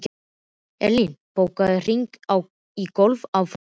Erlín, bókaðu hring í golf á föstudaginn.